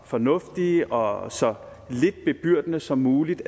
fornuftige og så lidt bebyrdende som muligt